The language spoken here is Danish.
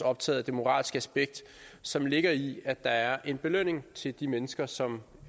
optaget af det moralske aspekt som ligger i at der er en belønning til de mennesker som